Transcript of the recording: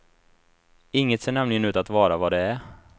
Inget ser nämligen ut att vara vad det är.